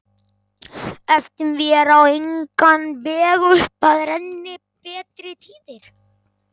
Efum vér á engan veg upp að renni betri tíðir